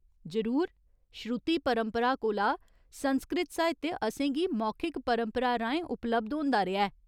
जरूर ! श्रुति परम्परा कोला, संस्कृत साहित्य असेंगी मौखिक परंपरा राहें उपलब्ध होंदा रेहा ऐ।